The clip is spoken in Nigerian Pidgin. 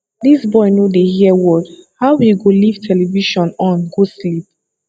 dis boy no dey hear word how he go live television on go sleep